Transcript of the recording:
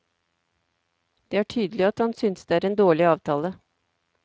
Det er tydelig at han synes det er en dårlig avtale.